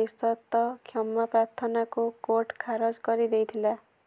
ନିଃସର୍ତ୍ତ କ୍ଷମା ପ୍ରାର୍ଥନାକୁ କୋର୍ଟ ଖାରଜ କରିଦେଇଥିଲେ